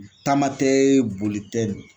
Taama tɛ boli tɛ.